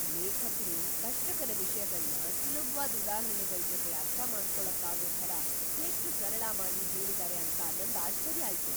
ಲೇಖಕ್ರು ಕಷ್ಟಕರ ವಿಷ್ಯಗಳ್ನ ಸುಲಭ್ವಾದ್ ಉದಾಹರಣೆಗಳ್‌ ಜೊತೆ ಅರ್ಥಮಾಡ್ಕೊಳಕ್ಕಾಗೋ ಥರ ಎಷ್ಟ್ ಸರಳ ಮಾಡಿ ಹೇಳಿದಾರೆ ಅಂತ ನಂಗ್ ಆಶ್ಚರ್ಯ ಆಯ್ತು.